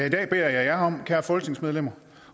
i dag beder jeg jer kære folketingsmedlemmer